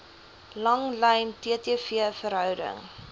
langlyn ttv verhouding